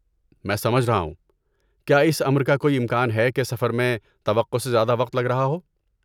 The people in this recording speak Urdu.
میں سمجھ رہا ہوں، کیا اس امر کا کوئی امکان ہے کہ سفر میں توقع سے زیادہ وقت لگ رہا ہو؟